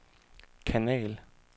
kanal